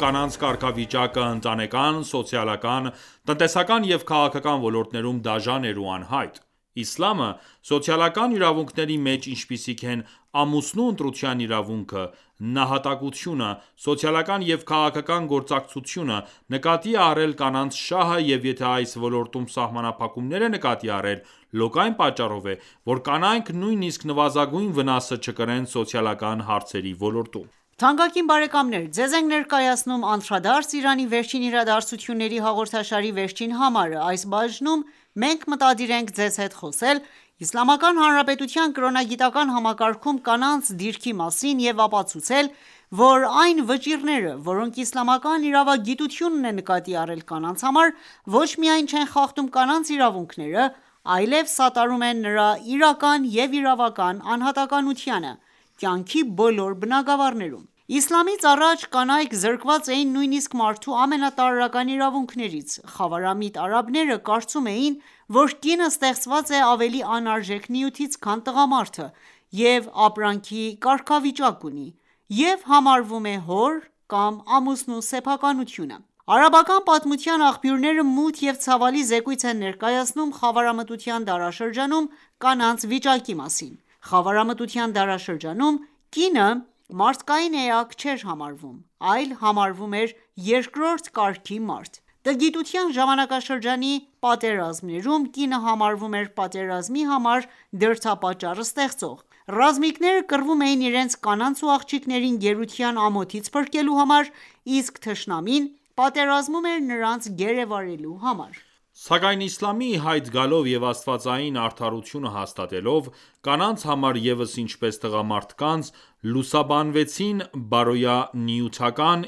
կանանց կարգավիճակը ընտանեկան, սոցիալական, տնտեսական և քաղաքական ոլորտներում դաժան էր ու անհայտ: Իսլամը ,սոցիալական իրավունքների մեջ, ինչպիսիք են՝ ամուսնու ընտրության իրավունքը, նահատակությունը, սոցիալական և քաղաքական գործակցությունը, նկատի է առել կանանց շահը, և եթե այս ոլորտում սահմանափակումներ է նկատի առել, լոկ այն պատճառով է ,որ կանայք նույնիսկ նվազագույն վնասը չկրեն սոցիալական հարցերի ոլորտում։ Թանկագին բարեկամներ, Ձեզ ենք ներկայացնում «Անդրադարձ՝Իրանի վերջին իրադարձություններին »հաղորդաշարի վերջին համարը: Այս բաժնում մենք մտադիր ենք ձեզ հետ խոսել Իսլամական Հանրապետության կրոնագիտական համակարգում կանանց դիրքի մասին և ապացուցել, որ այն վճիռները, որոնք իսլամական իրավագիտությունն է նկատի առել կանանց համար, ոչ միայն չեն խախտում կանանց իրավունքները, այլև սատարում են նրա իրական ու իրավական անհատականությանը, կյանքի բոլոր բնագավառներում:Իսլամից առաջ կանայք զրկված էին նույնիսկ մարդու ամենատարրական իրավունքներից:Խավարամիտ արաբները կարծում էին, որ կինը ստեղծված է ավելի անարժեք նյութից, քան տղամարդը և ապրանքի կարգավիճակ ունի և համարվում է հոր կամ ամուսնու սեփականությունը:Արաբական պատմության աղբյուրները, մութ և ցավալի զեկույց են ներկայացնում խավարամտության դարաշրջանում կանանց վիճակի մասին: Խավարամտության դարաշրջանում, կինը մարդկային էակ չէր համարվում, այլ համարվում էր երկրորդ կարգի մարդ: Տգիտության ժամանակաշրջանի պատերազմներում կինը համարվում էր պատերազմի համար դրդապատճառ ստեղծող: Ռազմիկները կռվում էին իրենց կանանց ու աղջիկներին գերության ամոթից փրկելու համար, իսկ թշնամին պատերազմում էր նրանց գերեվարելու համար: Սակայն Իսլամի իհայտ գալով և աստվածային արդարությունը հաստատվելով, կանանց համար ևս ինչպես տղամարդկանց, լուսաբանվեցին բարոյա-նյութական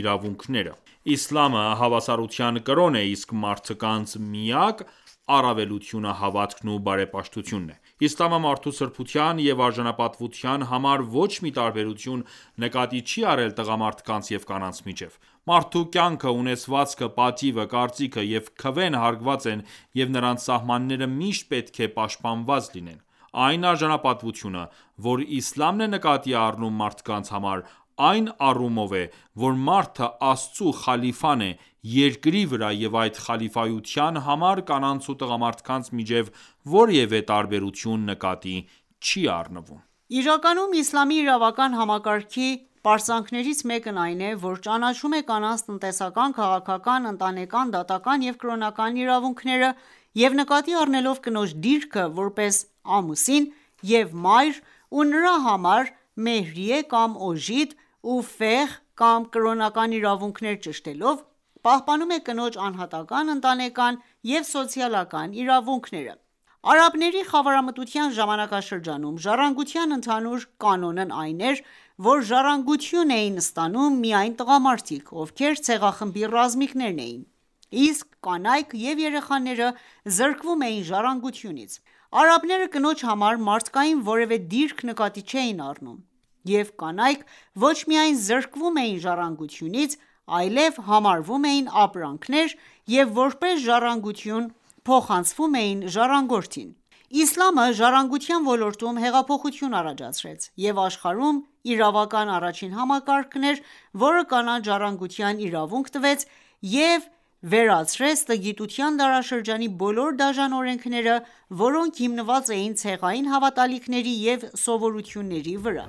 իրավունքները: Իսլամը հավասարության կրոն է, իսկ մարդկանց միակ առավելությունը հավատքն ու բարեպաշտությունն է:Իսլամը մարդու սրբության և արժանապատվության համար, ոչ մի տարբերություն նկատի չի առել տղամարդկանց և կանանց միջև:Մարդու կյանքը, ունեցվածքը, պատիվը, կարծիքը և քվեն հարգված են, և նրանց սահմանները միշտ պետք է պաշտպանված լինեն: Այն արժանապատվությունը ,որ Իսլամն է նկատի առնում մարդկանց համար ,այն առումով է ,որ մարդը Աստծու խալիֆան է երկրի վրա և այդ խալիֆայության համար կանանց ու տղամարդկանց միջև որևէ տարբերություն նկատի չի առնվում: Իրականում Իսլամի իրավական համակարգի պարծանքներից մեկն այն է, որ ճանաչում է կանանց տնտեսական, քաղաքական, ընտանեկան, դատական ​​և կրոնական իրավունքները և նկատի առնելով կնոջ դիրքը ,որպես ամուսին և մայր ու նրա համար մեհրիե(օժիտ)ու իրավունքներ)ճշտելով, պահպանում է կնոջ անհատական, ընտանեկան և սոցիալական իրավունքները։ Արաբների խավարամտության ժամանակաշրջանում, ժառանգության ընդհանուր կանոնն այն էր, որ ժառանգություն էին ստանում միայն տղամարդիկ, ովքեր ցեղախմբի ռազմիկներն էին, իսկ կանայք և երեխաները զրկվում էին ժառանգությունից:Արաբները կնոջ համար մարդկային որևէ դիրք նկատի չէին առնում և կանայք ոչ միայն զրկվում էին ժառանգությունից, այլև համարվում էին ապրանքներ և,որպես ժառանգություն փոխանցվում էին ժառանգորդին: Իսլամը ժառանգության ոլորտում հեղափոխություն առաջացրեց և աշխարհում իրավական առաջին համակարգն էր, որը կանանց ժառանգության իրավունք տվեց և վերացրեց տգիտության դարաշրջանի բոլոր դաժան օրենքները, որոնք հիմնված էին ցեղային հավատալիքների և սովորույթների վրա: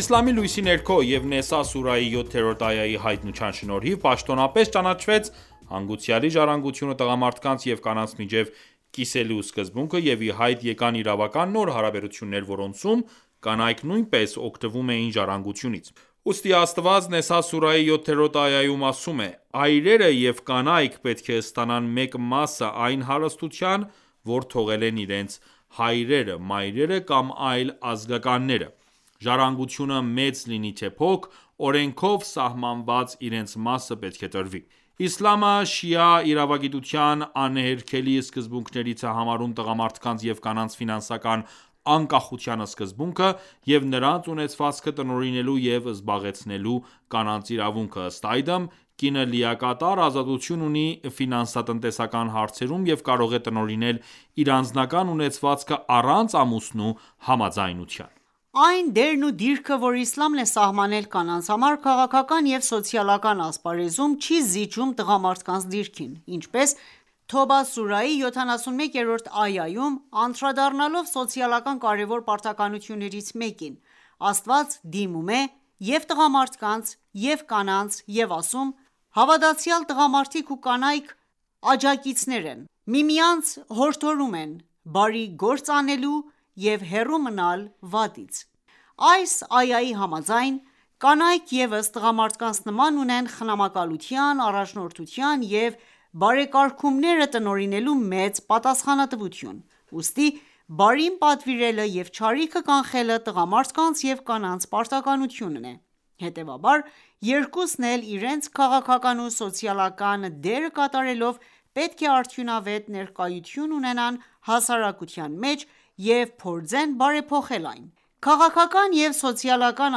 Իսլամի լույսի ներքո և Նեսա սուրահի 7-րդ այայի հայտնության շնորհիվ պաշտոնապես ճանաչվեց հանգուցյալի ժառանգությունը տղամարդկանց և կանանց միջև կիսելու սկզբունքը և ի հայտ եկան իրավական նոր հարաբերություններ, որոնցում կանայք նույնպես օգտվում էին ժառանգությունից:Ուստի Աստված Նեսա սուրահի 7-րդ այայում ասում է.« Այրերը և կանայք պետք է ստանան մեկ մասը այն հարստության, որ թողել են իրենց հայրերը, մայրերը կամ այլ ազգականները: Ժառանգությունը մեծ լինի թե փոքր, օրենքով սահմանված իրենց մասը պետք է տրվի...»: Իսլամը շիա իրավագիտության անհերքելի սկզբունքներից է համարում տղամարդկանց և կանանց անկախության սկզբունքը և նրանց ունեցվածքը տնօրինելու և զբաղեցնելու՝ կանանց իրավունքը:Ըստ այդմ՝ կինը լիակատար ազատություն ունի հարցերում և կարող է տնօրինել իր անձնական ունեցվածքը առանց ամուսնու համաձայնության։ Այն դերն ու դիրքը, որ Իսլամն է սահմանել կանանց համար քաղաքական և սոցիալական ասպարեզում, չի զիջում տղամարդկանց դիրքին: Ինչպես Թոբա սուրահի 71-րդ այայում, անդրադառնալով սոցիալական կարևոր պարտականություններից մեկին, Աստված դիմում է և՛ տղամարդկանց, և՛ կանանց և ասում.« Հավատացյալ տղամարդիկ ու կանայք աջակիցներ են: Միմյանց հորդորում են բարի գործ անել եւ հեռու մնալ վատից...»:Այս այայի համաձայն, կանայք ևս տղամարդկանց նման, ունեն խնամակալության, առաջնորդության և բարեկարգումները տնօրինելու մեծ պատասխանատվություն: Ուստի բարին պատվիրելը և չարիքը կանխելը տղամարդկանց և կանանց պարտականությունն է: Հետևաբար երկուսն էլ իրենց քաղաքական ու սոցիալական դերը կատարելով պետք է արդյունավետ ներկայություն ունենան հասարակության մեջ և փորձեն բարեփոխել այն։ Քաղաքական և սոցիալական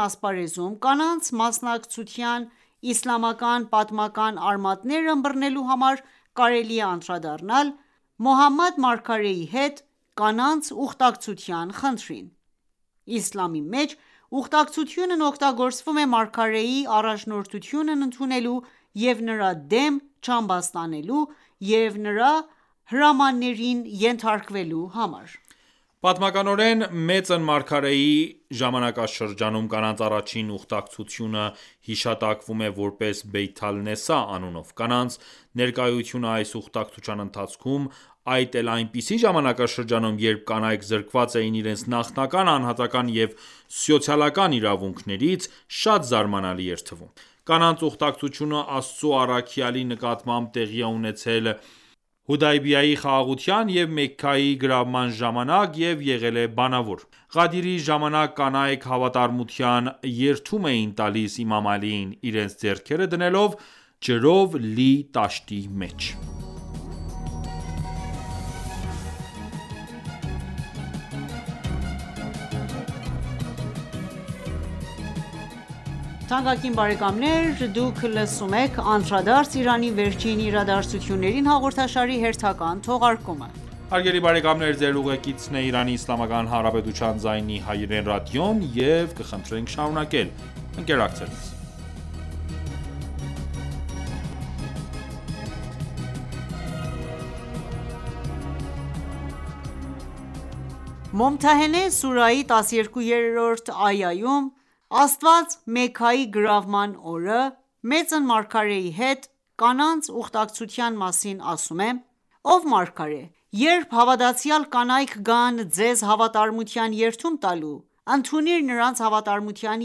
ասպարեզում կանանց մասնակցության իսլամական- պատմական արմատները ըմբռնելու համար կարելի է անդրադառնալ Մոհամմադ Մարգարեի հետ կանանց ուխտակցության խնդրին: Իսլամի մեջ ուխտակցությունն օգտագործվում է Մարգարեի առաջնորդությունն ընդունելու և նրա դեմ չապստամբելու և նրա հրամաններին ենթարկվելու համար։ Պատմականորեն, մեծն Մարգարեի ժամանակաշրջանում կանանց առաջին ուխտակցությունը հիշատակվում է ,որպես «Բեյաթ ալ-Նեսսա» անունով: Կանանց ներկայությունը այս ուխտակցության ընթացքում ,այդ էլ այնպիսի ժամանակաշրջանում, երբ կանայք զրկված էին իրենց նախնական անհատական ​​և սոցիալական իրավունքներից, շատ զարմանալի էր թվում: Կանանց ուխտակցությունը Աստծո առաքյալի նկատմամբ տեղի է ունեցել Հուդայբիայի խաղաղության և Մեքքայի գրավման ժամանակ և եղել է բանավոր: Ղադիրի ժամանակ կանայք հավատարմության երդում էին տալիս իմամ Ալիին ,իրենց ձեռքերը դնելով ջրով լի տաշտի մեջ: «Մոմթահենե» սուրահի 12-րդ այայում Աստված ,Մեքքայի գրավման օրը մեծն Մարգարեի հետ կանանց ուխտակցության մասին ասում է.«Ով մարգարե, Երբ հավատացյալ կանայք գան ձեզ հավատարմության երդում տալու... ընդունիր նրանց հավատարմության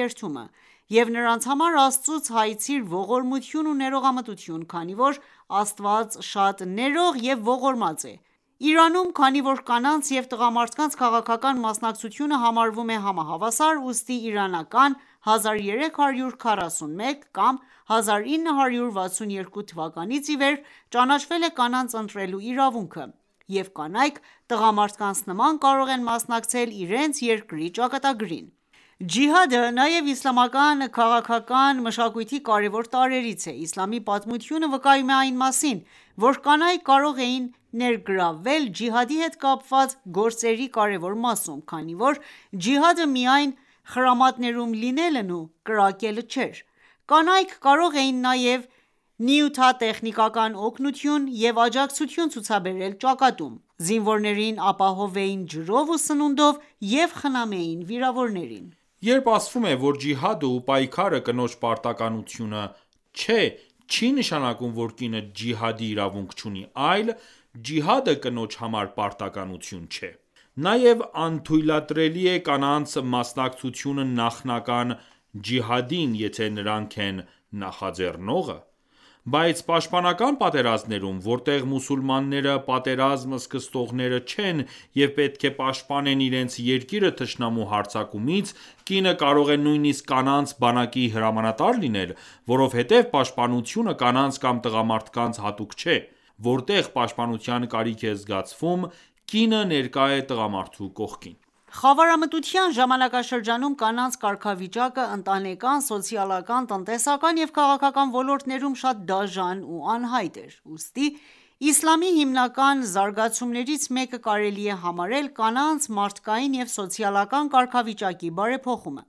երդումը և նրանց համար Աստծուց հայցիր ողորմություն ու ներողամտություն, քանի որ Աստված շատ ներող և ողորմած է»: Իրանում, քանի որ կանանց և տղամարդկանց քաղաքական մասնակցությունը համարվում է համահավասար, ուստի իրանական 1341(1962) թվականից ի վեր ճանաչվել է կանանց ընտրելու իրավունքը, և կանայք տղամարդկանց նման կարող են մասնակցել իրենց երկրի ճակատագրին։ Ջիհադը նաև իսլամական քաղաքական մշակույթի կարևոր տարրերից է։ Իսլամի պատմությունը վկայում է այն մասին, որ կանայք կարող էին ներգրավվել Ջիհադի հետ կապված գործերի կարևոր մասում, քանի որ ջիհադը միայն խրամատներում լինելն ու կրակելը չէր: Կանայք կարող էին նաև նյութատեխնիկական օգնություն և աջակցություն ցուցաբերել ճակատում: Զինվորներին ապահովեին ջրով ու սնունդով և խնամեին վիրավորներին: Երբ ասվում է, որ ջիհադը ու պայքարը կնոջ պարտականությունը չէ, չի նշանակում, որ կինը ջիհադի իրավունք չունի, այլ՝ ջիհադը կնոջ համար պարտականություն չէ: Նաև անթույլատրելի է կանանց մասնակցությունը նախնական ջիհադին, եթե նրանք են նախաձեռնողը: Բայց պաշտպանական պատերազմներում, որտեղ մուսուլմանները պատերազմ սկսողները չեն և պետք է պաշտպանեն իրենց երկիրը թշնամու հարձակումից, կինը կարող է նույնիսկ կանանց բանակի հրամանատար լինել:Որովհետև պաշտպանությունը կանանց կամ տղամարդկանց հատուկ չէ, որտեղ պաշտպանության կարիք է զգացվում ,կինը ներկա է տղամարդու կողքին: Խավարամտության ժամանակաշրջանում կանանց կարգավիճակը ընտանեկան, սոցիալական ,տնտեսական եւ քաղաքական ոլորտներում շատ դաժան ու անհայտ էր: Ուստի իսլամի հիմնական զարգացումներից մեկը կարելի է համարել կանանց մարդկային և սոցիալական կարգավիճակի բարեփոխումը: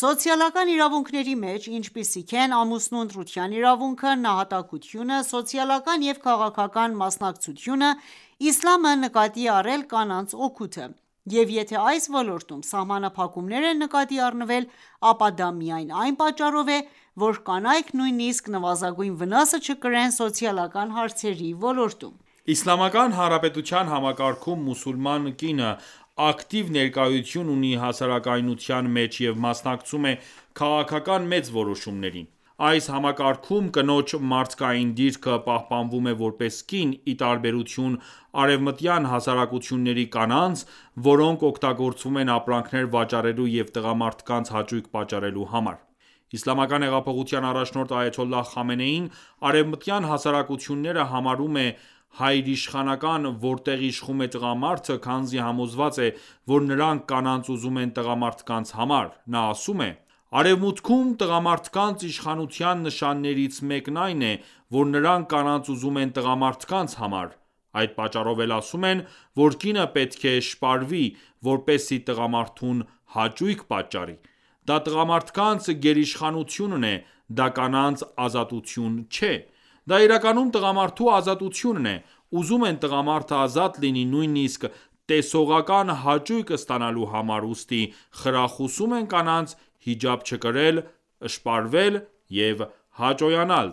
Սոցիալական իրավունքների մեջ, ինչպիսիք են ամուսնու ընտրության իրավունքը, նահատակությունը, սոցիալական և քաղաքական մասնակցությունը, Իսլամը նկատի է առել կանանց օգուտը, և եթե այս ոլորտում սահմանափակումներ են նկատի առնվել, ապա դա միայն այն պատճառով է, որ կանայք նույնիսկ նվազագույն վնասը չկրեն սոցիալական հարցերի ոլորտում: Իսլամական Հանրապետության համակարգում մուսուլման կինը ակտիվ ներկայություն ունի հասարակության մեջ և մասնակցում է քաղաքական մեծ որոշումներին։ Այս համակարգում կնոջ մարդկային դիրքը պահպանվում է որպես կին, ի տարբերություն արևմտյան հասարակությունների կանանց, որոնք օգտագործվում են ապրանքներ վաճառելու և տղամարդկանց հաճույք պատճառելու համար: Իսլամական հեղափոխության առաջնորդ Այաթոլլահ Խամենեին արևմտյան հասարակությունները համարում է հայրիշխանական ,որտեղ իշխում է տղամարդը ,քանզի համոզված է, որ նրանք կանանց ուզում են տղամարդկանց համար։ Նա ասում է.«Արևմուտքում, տղամարդկանց իշխանության նշաններից մեկն այն է, որ նրանք կանանց ուզում են տղամարդկանց համար: Այդ պատճառով էլ ասում են, որ կինը պետք է շպարվի, որպեսզի տղամարդուն հաճույք պատճառի:Դա տղամարդկանց գերիշխանությունն է,դա կանանց ազատություն չէ: Դա իրականում տղամարդու ազատությունն է:Ուզում են տղամարդը ազատ լինի, նույնիսկ տեսողական հաճույք ստանալու համար, ուստի խրախուսում են կանանց հիջաբ չկրել, շպարվել և հաճոյանալ